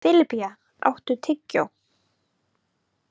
Filippía, áttu tyggjó?